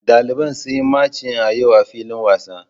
Daliban sun yi machin a yau a filin wasa.